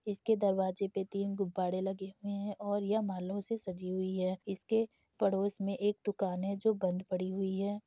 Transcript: इसके दरवाजे पे तीन गुब्बाड़े लगे हुए हैं और ये मालो से सजी हुई हैं इसके पड़ोस में एक दुकान है जो बंद पड़ी हुई है।